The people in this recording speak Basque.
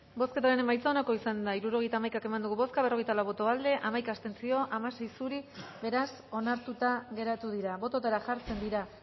bozketaren emaitza onako izan da hirurogeita hamaika eman dugu bozka berrogeita lau boto aldekoa hamaika abstentzio hamasei zuri beraz onartuta geratu dira bototara jartzen dira